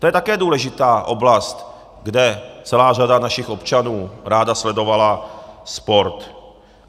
To je také důležitá oblast, kde celá řada našich občanů ráda sledovala sport.